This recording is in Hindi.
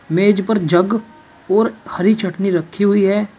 मेज पर जग और हरी चटनी रखी हुई है।